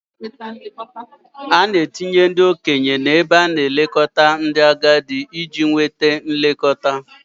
A na-etinye ndị okenye n'ebe a na-elekọta ndị agadi iji nweta nlekọta.